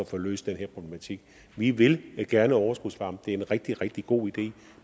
få løst den her problematik vi vil gerne overskudsvarme det er en rigtig rigtig god idé